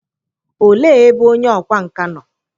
òle ebe onye ọkwá nka nọ?